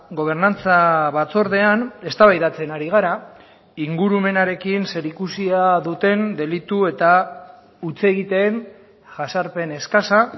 gobernantza batzordean eztabaidatzen ari gara ingurumenarekin zerikusia duten delitu eta hutsegiteen jazarpen eskasa